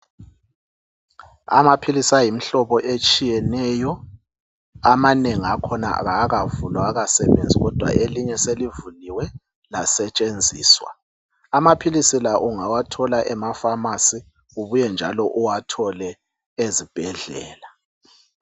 Amaphilisi ayimihlobo etshiyeneyo amanengi akhona kawakavulwa awakasebenzi kodwa elinye selivuliwe lasetshenziswa amaphilisi la ungawathola emaFamasi ubuye njalo uwathole ezibhedlela.